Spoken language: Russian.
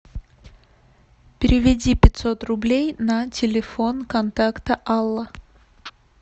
переведи пятьсот рублей на телефон контакта алла